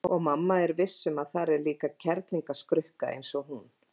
Og mamma er viss um að þar sé líka kerlingarskrukka eins og hún.